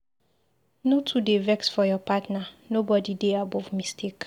No too dey vex for your partner, nobodi dey above mistake.